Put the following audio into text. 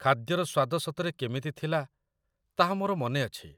ଖାଦ୍ୟର ସ୍ୱାଦ ସତରେ କେମିତି ଥିଲା ତାହା ମୋର ମନେ ଅଛି।